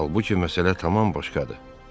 Halbuki məsələ tamam başqadır.